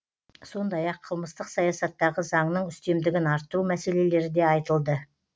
сондай ақ қылмыстық саясаттағы заңның үстемдігін арттыру мәселелері де айтылды